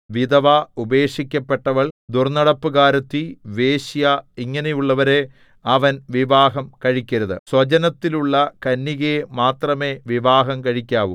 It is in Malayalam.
വിധവ ഉപേക്ഷിക്കപ്പെട്ടവൾ ദുർന്നടപ്പുകാരത്തി വേശ്യ ഇങ്ങനെയുള്ളവരെ അവൻ വിവാഹം കഴിക്കരുത് സ്വജനത്തിലുള്ള കന്യകയെ മാത്രമേ വിവാഹം കഴിക്കാവു